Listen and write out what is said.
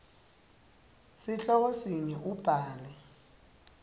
sihloko sinye ubhale